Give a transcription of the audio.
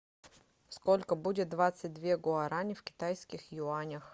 сколько будет двадцать две гуарани в китайских юанях